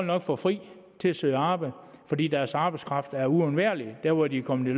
nok få fri til at søge arbejde fordi deres arbejdskraft er uundværlig der hvor de er kommet